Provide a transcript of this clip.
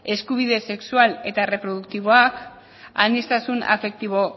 eskubide sexual eta erreproduktiboak aniztasun afektibo